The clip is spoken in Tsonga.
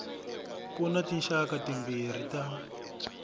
ku na tinxaka timbirhi ta